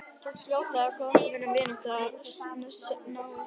Tókst fljótlega með okkur góð vinátta og náið samstarf.